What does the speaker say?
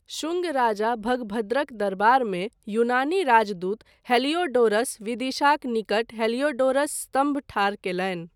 शुङ्ग राजा भगभद्रक दरबारमे यूनानी राजदूत हेलियोडोरस विदिशाक निकट हेलियोडोरस स्तम्भ ठाढ़ कयलनि।